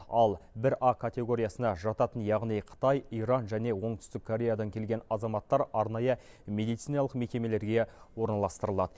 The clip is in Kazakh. ал бір а категориясына жататын яғни қытай иран және оңтүстік кореядан келген азаматтар арнайы медициналық мекемелерге орналастырылады